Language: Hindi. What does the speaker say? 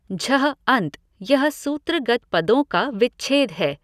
झः अन्त यह सूत्रगत पदों का विच्छेद है।